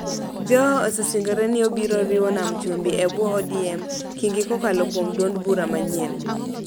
Joho osesingore ni obiro riwo Nam Chumbi e bwo ODM, Kingi kokalo kuom duond bura manyien